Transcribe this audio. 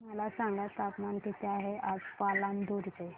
मला सांगा तापमान किती आहे आज पालांदूर चे